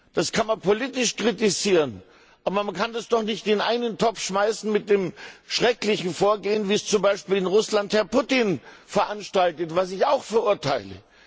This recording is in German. Das kann man politisch kritisieren, aber man kann das doch nicht in einen Topf schmeißen mit dem schrecklichen Vorgehen, wie es zum Beispiel in Russland Herr Putin veranstaltet, was ich auch verurteile.